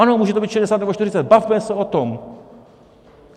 Ano, může to být 60 nebo 40, bavme se o tom!